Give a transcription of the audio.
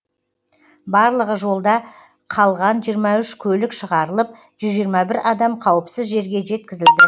барлығы жолда қалған жиырма үш көлік шығарылып жүз жиырма бір адам қауіпсіз жерге жеткізілді